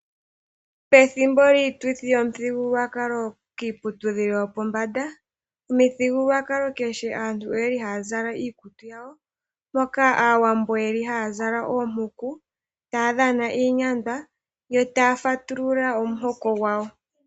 Pethimbo lyiituthi yomuthigululwakalo, kiiputudhilo yopombanda, omuthigululwakalo kehe aantu oya li ha ya zala iikutu yawo, mpo aawambo ye li ha ya zala oompuku taa dhana iinyandwa yo ta ya fatulula omuhoko gwawo.